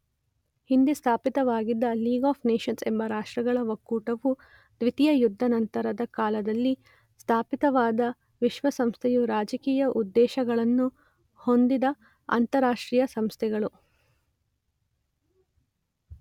ಹಿಂದೆ ಸ್ಥಾಪಿತವಾಗಿದ್ದ league of nations ಎಂಬ ರಾಷ್ಟ್ರಗಳ ಒಕ್ಕೂಟವೂ ದ್ವಿತೀಯ ಯುದ್ಧಾನಂತರದ ಕಾಲದಲ್ಲಿ ಸ್ಥಾಪಿತವಾದ ವಿಶ್ವಸಂಸ್ಥೆಯೂ ರಾಜಕೀಯ ಉದ್ದೇಶಗಳನ್ನು ಹೊಂದಿದ ಅಂತಾರಾಷ್ಟ್ರೀಯ ಸಂಸ್ಥೆಗಳು.